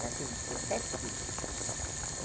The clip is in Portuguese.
Ela teve dezessete filhos.